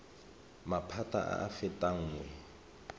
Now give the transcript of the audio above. maphata a a fetang nngwe